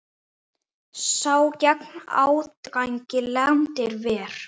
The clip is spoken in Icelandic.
Sá gegn ágangi landið ver.